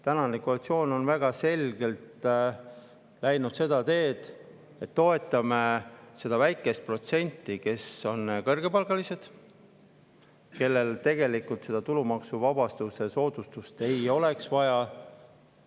Tänane koalitsioon on väga selgelt läinud seda teed, et toetab seda väikest protsenti, kes on kõrgepalgalised ja kellel tegelikult seda tulumaksusoodustust ei oleks vaja.